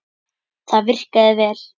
Það virkaði vel.